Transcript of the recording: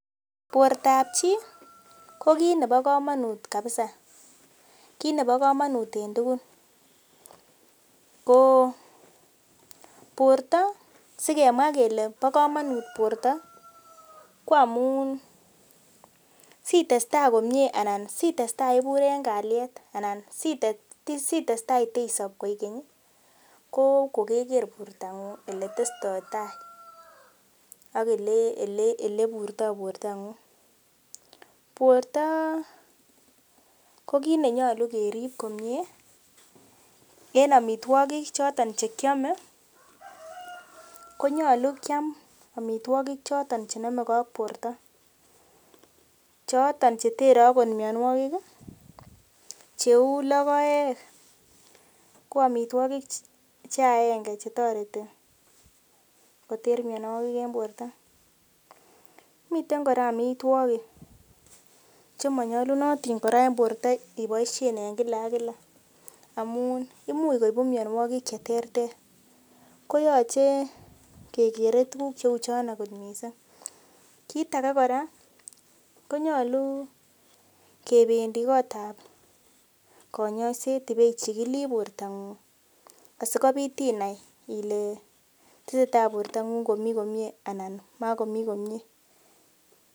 Bortap chii ko kit nebo komonut kabisa kit nebo komonut en tugul ko borto sikemwaa kele bo komonut borto ko amun sitestaa komie anan sitestaa ibur en kalyet anan sitestaa itesop koikeny ih ko kokeker bortong'ung eletestoitai ak eleburtoo bortong'ung, borto ko kit nenyolu kerip komie en amitwogik choton chekiome konyolu kiam amitwogik choton chenomegee ak borto choton chetere akot mionwogik ih cheu logoek ko amitwogik che aenge chetoreti koter mionwogik en borto miten kora amitwogik chemonyolunotin kora en borto iboisien en kila ak kila amun imuch koibu mionwogik cheterter koyoche kekere tuguk cheuchono kot missing kit age kora konyolu kebendii kotab konyoiset ibeichikilii bortong'ung asikobit inai ile tesetai bortong'ung komii komie anan makomii komie